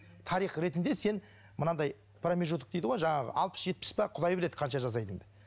тарих ретінде сен мынандай промежуток дейді ғой жаңағы алпыс жетпіс пе құдай біледі қанша жасайтыныңды